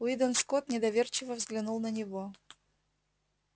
уидон скотт недоверчиво взглянул на него